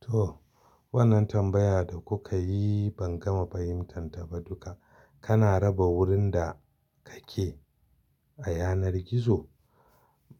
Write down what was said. To, wannan tambaya da kuka yi ban gama fahimtan ta ba duka. Kana raba wurin da kake a yanar gizo.